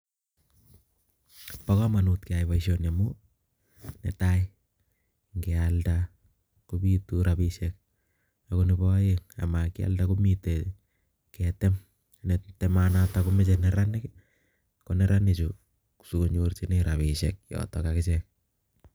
Bokomanut kee nyai boisioni amuu nee tai nge alda kobitu rabinishek ako nebo aeng amakialda komite keetem nee temanatok komoche neranik ko neranik chuu sikonyorunee rabishek yotok akichek